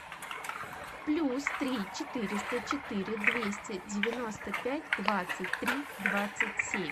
плюс три четыреста четыре двести девяносто пять двадцать три двадцать семь